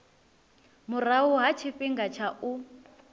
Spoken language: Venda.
murahu ha tshifhinga tsha u